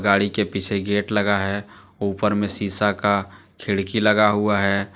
गाड़ी के पीछे गेट लगा है ऊपर में शीशा का खिड़की लगा हुआ है।